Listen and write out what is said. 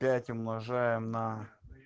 пять умножаем на